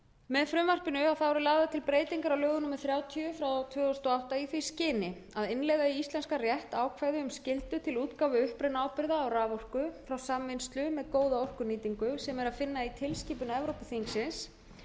með frumvarpinu eru lagðar til breytingar á lögum númer þrjátíu tvö þúsund og átta í því skyni að innleiða í íslenskan rétt ákvæði um skyldu til útgáfu upprunaábyrgða á raforku frá samvinnslu með góða orkunýtingu sem er að finna í tilskipun evrópuþingsins